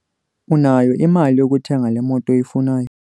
Unayo imali yokuthenga le moto uyifunayo.